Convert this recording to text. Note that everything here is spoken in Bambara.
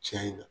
Tiɲɛ na